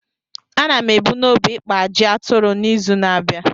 A na m ebu n’obi ikpa ajị aturu n’izu na-abịa.